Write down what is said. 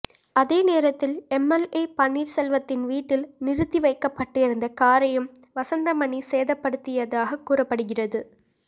அதே நேரத்தில் எம்எல்ஏ பன்னீர்செல்வத்தின் வீட்டில் நிறுத்தி வைக்கப்பட்டிருந்த காரையும் வசந்தமணி சேதப்படுத்தியதாக கூறப்படுகிறது